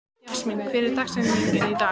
Jasmín, hver er dagsetningin í dag?